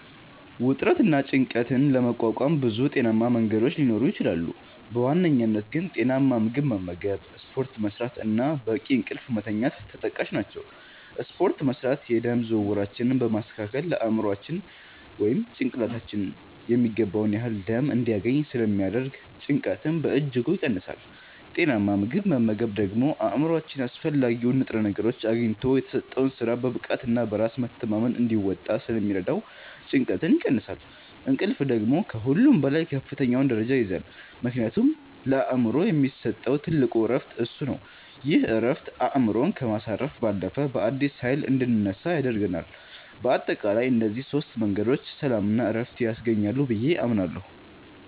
ውጥረትንና ጭንቀትን ለመቋቋም ብዙ ጤናማ መንገዶች ሊኖሩ ይችላሉ፤ በዋናነት ግን ጤናማ ምግብ መመገብ፣ ስፖርት መስራት እና በቂ እንቅልፍ መተኛት ተጠቃሽ ናቸው። ስፖርት መስራት የደም ዝውውራችንን በማስተካከል ለአእምሯችን (ጭንቅላታችን) የሚገባውን ያህል ደም እንዲያገኝ ስለሚያደርግ ጭንቀትን በእጅጉ ይቀንሳል። ጤናማ ምግብ መመገብ ደግሞ አእምሯችን አስፈላጊውን ንጥረ ነገር አግኝቶ የተሰጠውን ሥራ በብቃትና በራስ መተማመን እንዲወጣ ስለሚረዳው ጭንቀትን ይቀንሳል። እንቅልፍ ደግሞ ከሁሉም በላይ ከፍተኛውን ደረጃ ይይዛል፤ ምክንያቱም ለአእምሮ የሚሰጠው ትልቁ ዕረፍት እሱ ነው። ይህ ዕረፍት አእምሮን ከማሳረፍ ባለፈ፣ በአዲስ ኃይል እንድንነሳ ያደርገናል። በአጠቃላይ እነዚህ ሦስት መንገዶች ሰላምና ዕረፍት ያስገኛሉ ብዬ አምናለሁ።